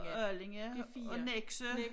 Og Allinge og Nexø